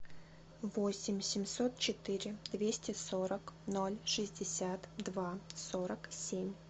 восемь семьсот четыре двести сорок ноль шестьдесят два сорок семь